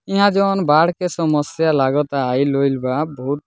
यहाँ जोन बाढ़ के समस्या लागता आइल-उइल बा बहुत।